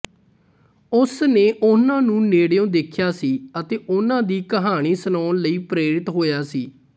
ਉਸਨੇ ਉਹਨਾਂ ਨੂੰ ਨੇੜਿਓਂ ਦੇਖਿਆ ਸੀ ਅਤੇ ਉਹਨਾਂ ਦੀ ਕਹਾਣੀ ਸੁਣਾਉਣ ਲਈ ਪ੍ਰੇਰਿਤ ਹੋਇਆ ਸੀ